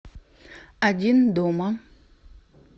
один дома